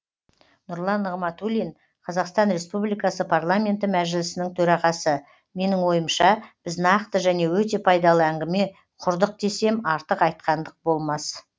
нұрлан нығматулин қазақстан республикасы парламенті мәжілісінің төрағасы менің ойымша біз нақты және өте пайдалы әңгіме құрдық десем артық айтқандық болмас